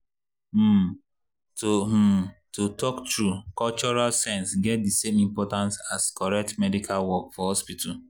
um to um to talk true cultural sense get the same importance as correct medical work for hospital.